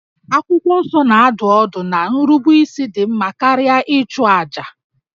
Akwụkwọ Nsọ na-adụ ọdụ na nrubeisi dị mma karịa ịchụ àjà